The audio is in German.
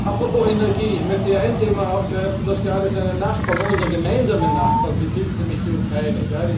Apropos Energie Ich möchte ein Thema aufgreifen, das gerade seinen Nachbarn, unseren gemeinsamen Nachbarn betrifft, nämlich die Ukraine.